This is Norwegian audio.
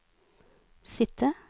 sitte